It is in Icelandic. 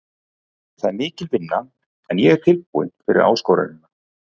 Það er mikil vinna en ég er tilbúinn fyrir áskorunina.